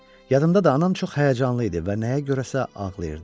Yadımdadır, anam çox həyəcanlı idi və nəyə görəsə ağlayırdı.